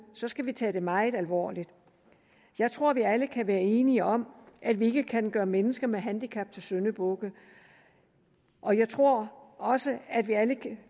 skal vi tage det meget alvorligt jeg tror vi alle kan være enige om at vi ikke kan gøre mennesker med handicap til syndebukke og jeg tror også at vi alle